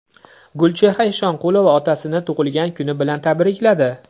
Gulchehra Eshonqulova otasini tug‘ilgan kuni bilan tabrikladi.